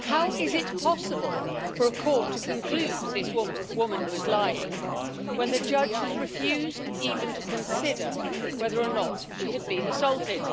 How is it possible for a court to conclude this woman was lying when the judge has refused even to consider whether or not she had been assaulted?